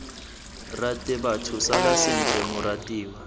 rate batho sala sentle moratiwa